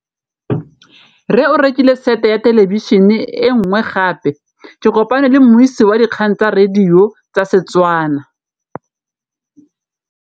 Rre o rekile sete ya thêlêbišênê e nngwe gape. Ke kopane mmuisi w dikgang tsa radio tsa Setswana.